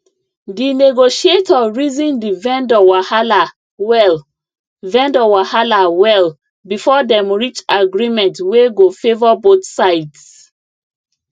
the negotiator reason the vendor wahala well vendor wahala well before dem reach agreement wey go favour both sides